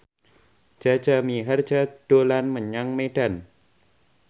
Jaja Mihardja dolan menyang Medan